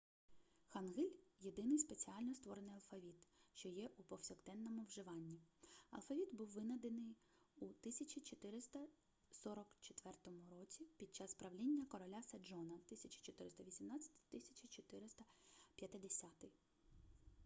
хангиль – єдиний спеціально створений алфавіт що є у повсякденному вживанні. алфавіт був винайдений у 1444 році під час правління короля седжона 1418-1450